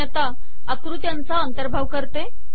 मी आता आकृत्यांचा अंतर्भाव करते